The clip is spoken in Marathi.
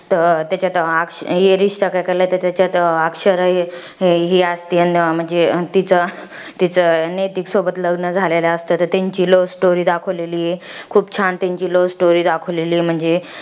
त्याच्यात अक्ष त्याच्यात अक्षरा ही असती, आणि तिचं तिचं, नैतिकसोबत लग्न झालेलं असतं. तर त्यांची love story दाखवलेली आहे. खूप छान त्यांची love story दाखवलेली आहे म्हणजे.